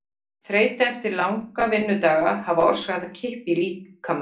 Dómari: Guðmundur Ársæll Guðmundsson- ágætur.